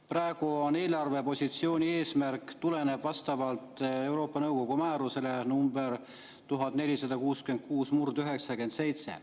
Praegu eelarvepositsiooni eesmärk tuleneb Euroopa Nõukogu määrusest nr 1466/97.